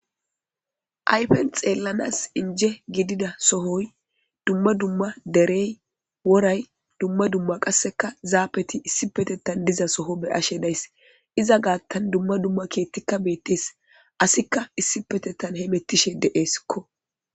aypen xeellanas inje gidida sohoy dumma dumma derey woray dumma dumma qasseka zaafeti issi petettan diza soho be ashe days iza gaattan dumma dumma keettikka beettes asikka issi petettan he mettishe de7eeskko